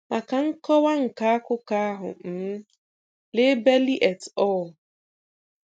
Maka nkọwa nke akwụkwọ um ahụ, lee Belli et al.